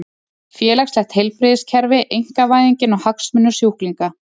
Félagslegt heilbrigðiskerfi, einkavæðingin og hagsmunir sjúklinga.